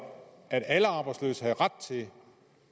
at alle arbejdsløse skulle have ret til